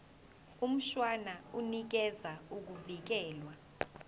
mshwana unikeza ukuvikelwa